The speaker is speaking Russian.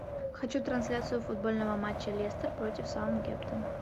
хочу трансляцию футбольного матча лестер против саутгемптон